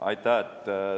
Aitäh!